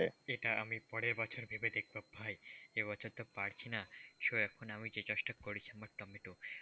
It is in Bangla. এইটা আমি পরের বছর ভেবে দেখবো ভাই এ বছর তো পারছিনা so এখন আমি যে চাষটা করছি আমি টমেটো।